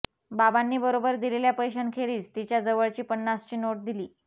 बाबांनी बरोबर दिलेल्या पैशांखेरीज तिच्या जवळची पन्नासची नोट दिली